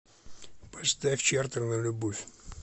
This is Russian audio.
поставь чартер на любовь